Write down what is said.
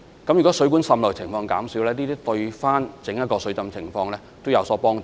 如果水管滲漏的情況減少，對於防止水浸也有所幫助。